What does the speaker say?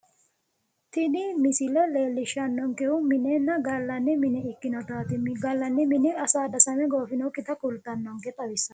Tini misile leellishannonkehu minenna gallanni mine ikkinotaati, gallanni mini asaaddasame goofinokkita kultannonke xawissannonke.